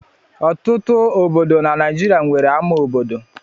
Ọtụtụ obodo na Naịjirịa nwere ama obodo.